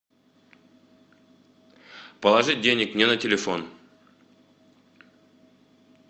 положить денег мне на телефон